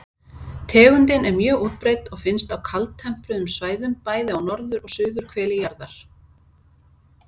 Tegundin er mjög útbreidd og finnst á kaldtempruðum svæðum, bæði á norður- og suðurhveli jarðar.